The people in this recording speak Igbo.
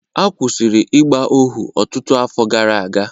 A kwụsịrị ịgba ohu ọtụtụ afọ gara aga